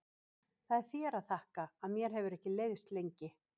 Það er þér að þakka að mér hefur ekki leiðst lengi.